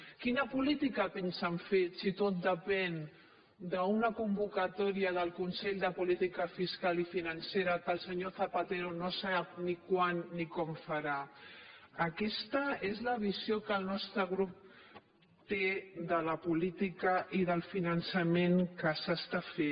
quina política pensen fer si tot depèn d’una convoca·tòria del consell de política fiscal i financera que el senyor zapatero no sap ni quan ni com farà aquesta és la visió que el nostre grup té de la política i del fi·nançament que s’està fent